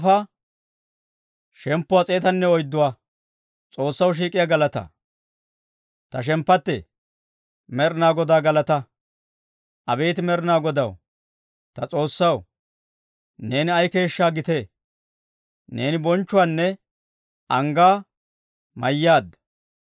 Ta shemppattee, Med'inaa Godaa galataa! Abeet Med'inaa Godaw ta S'oossaw, neeni ay keeshshaa gitee! Neeni bonchchuwaanne anggaa mayyaadda.